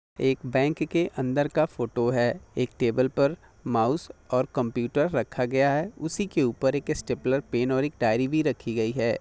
एक बैंक के अंदर का फोटो है माउस और कंप्यूटर रखा गया है उसी के ऊपर एक स्टेपनर पेन और डायरी भी रखी गई है।